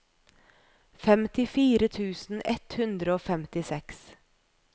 femtifire tusen ett hundre og femtiseks